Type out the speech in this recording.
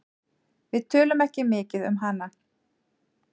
Við tölum ekki mikið um hana.